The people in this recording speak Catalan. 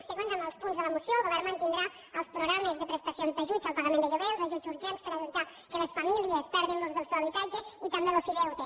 seguint amb els punts de la moció el govern mantindrà els programes de prestacions d’ajuts al pagament de lloguer els ajuts urgents per evitar que les famílies perdin l’ús del seu habitatge i també l’ofideute